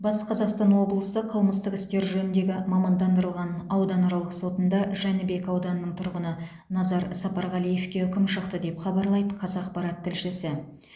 батыс қазақстан облысы қылмыстық істер жөніндегі мамандандырылған ауданаралық сотында жәнібек ауданының тұрғыны назар сапарғалиевке үкім шықты деп хабарлайды қазақпарат тілшісі